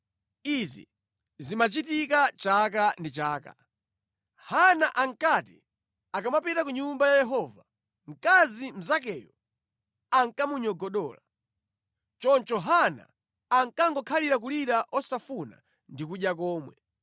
Izi zimachitika chaka ndi chaka. Hana ankati akamapita ku Nyumba ya Yehova mkazi mnzakeyo ankamunyogodola. Choncho Hana ankangokhalira kulira osafuna ndi kudya komwe.